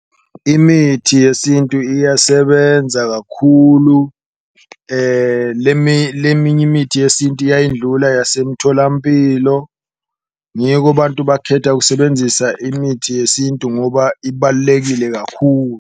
Imithi yesintu iyasebenza kakhulu leminye imithi yesintu iyayidlula yasemtholampilo, ngiko abantu bakhetha kusebenzisa imithi yesintu ngoba ibalulekile kakhulu.